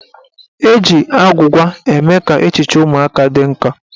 Eji agwụgwa eme ka echiche ụmụaka dị nkọ.